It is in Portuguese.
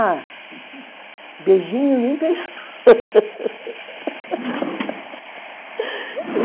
Ah, beijinho nem pensou